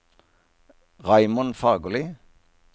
Raymond Fagerli